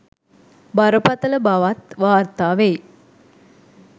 බරපතළ බවත් වාර්තා වෙයි.